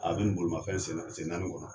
A binin bolimafɛn sen naani kɔnɔ.